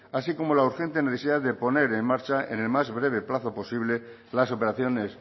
así como la urgente necesidad de poner en marcha en el más breve plazo posible las operaciones